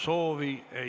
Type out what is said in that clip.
Suur tänu!